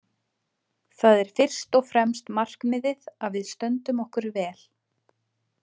Það er fyrst og fremst markmiðið að við stöndum okkur vel.